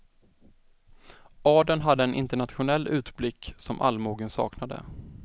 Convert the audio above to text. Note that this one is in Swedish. Adeln hade en internationell utblick som allmogen saknade.